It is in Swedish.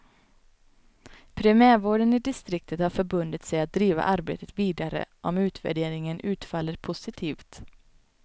Primärvården i distriktet har förbundit sig att driva arbetet vidare om utvärderingen utfaller positivt.